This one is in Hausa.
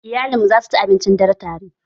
Iyalanmu za su ci abincin dare tare